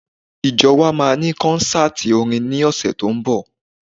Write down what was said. Ìjọ wa máa ní kọ́ńsátì orin ní ọ̀sẹ̀ tó ń bọ̀.